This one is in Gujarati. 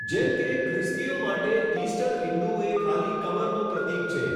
જેમ કે, ખ્રિસ્તીઓ માટે, ઇસ્ટર ઈંડું એ ખાલી કબરનું પ્રતીક છે.